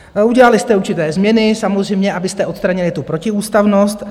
Udělali jste určité změny samozřejmě, abyste odstranili tu protiústavnost.